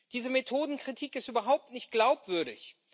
Diese Methodenkritik ist überhaupt nicht glaubwürdig.